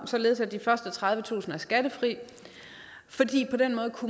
således at de første tredivetusind kroner er skattefri fordi